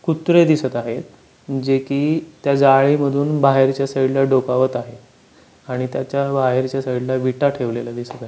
कुत्रे दिसत आहे जे की त्या जाळी मधून बाहेर च्या साइड ला डोकावत आहे आणि त्याच्या बाहेर च्या साइड ला वीटा ठेवलेल्या दिसत आ--